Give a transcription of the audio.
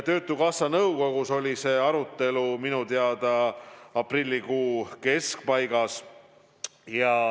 Töötukassa nõukogus oli see arutelu minu teada aprillikuu keskpaigas.